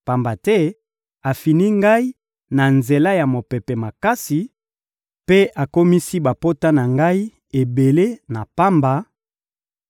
pamba te afini ngai na nzela ya mopepe makasi mpe akomisi bapota na ngai ebele na pamba,